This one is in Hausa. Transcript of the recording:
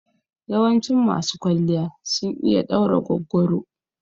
Yawancin masu kwalliya sun iya ɗaura goggoro.